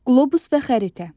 Qlobus və xəritə.